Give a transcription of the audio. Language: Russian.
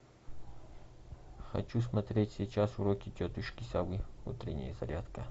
хочу смотреть сейчас уроки тетушки совы утренняя зарядка